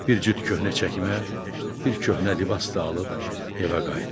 Bir cüt köhnə çəkmə, bir köhnə libas da alıb evə qayıtdı.